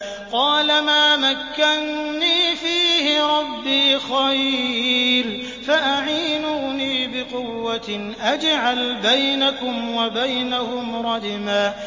قَالَ مَا مَكَّنِّي فِيهِ رَبِّي خَيْرٌ فَأَعِينُونِي بِقُوَّةٍ أَجْعَلْ بَيْنَكُمْ وَبَيْنَهُمْ رَدْمًا